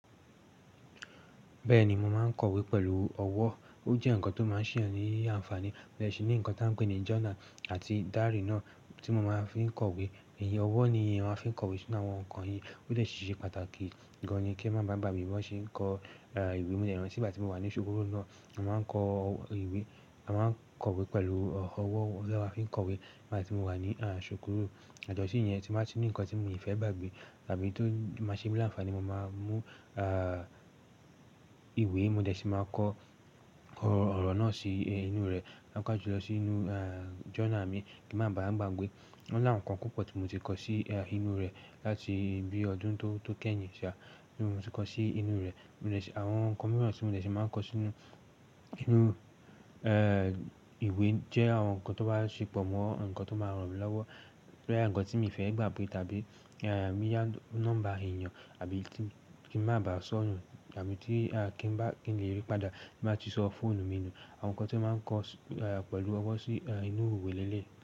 Bẹ́ẹ̀ni, mo máa ń kọ̀wé pẹ̀lú ọwọ́. Ó jẹ́ ǹkan tó máa ń ṣe èèyàn ni àǹfààní. Mo dẹ̀ ṣì ní ǹkan tí a ń pè ní journal àti diary náà tí mo máa fi ń kọ̀wé. Ìyẹn ọwọ́ ni èèyàn a fi ń kọ̀wé sínú àwọn ǹkan yìí, ó dẹ̀ ṣì ṣe pàtàkì gan-an ni kí èèyàn má bàa gbàgbé bí wọ́n ṣe ń kọ ìwé. Mo dẹ̀ rántí nígbà tí mo wà ní ṣùkúrù náà, a máa ń kọ ìwé, a máa ń kọ̀wé pẹ̀lú ọwọ́ lọ́wọ́ tí a fi ń kọ̀wé. Nígbà tí mo wà ní ṣùkúrù, yàtọ̀ sí ìyẹn tí máa ń ní ǹkan tí mo kì í fẹ́ gbàgbé tàbí tó máa ṣe mí láǹfààní, mo máa ń mú ìwé, mo dẹ̀ ṣì máa kọ ọ̀rọ̀ náà sí inú rẹ̀, máa ń káà ju lọ sí inú journal mi kí n má bawá gbàgbé. Wọ́n là àwọn ǹkan púpọ̀ tí mo ti kọ sí inú rẹ̀ láti bí ọdún tó kẹ́yìn ṣá ni mo ti kọ sí inú rẹ̀. Mo dẹ̀ ṣì, àwọn ǹkan mìíràn tí mo dẹ̀ ṣì máa ń kọ sínú, sínú ìwé jẹ́ àwọn ǹkan tó bá ṣì pọ̀ mọ́ ǹkan tó máa ràn mí lọ́wọ́. Bóyá ǹkan tí mi ò fẹ́ gbàgbé tàbí bóyá nọ́mbà èèyàn àbí kí n má bàá sọ nù àbí tí kí n bá, kí n le rí padà bí màá ti sọ fóònù mi nù. Àwọn ǹkan tí màá ń kọ pẹ̀lú ọwọ́ sí inú ìwé leléyìí.